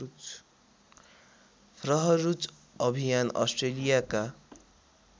फ्रहरूच अभियान अस्ट्रेलियाका